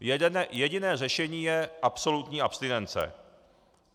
Jediné řešení je absolutní abstinence.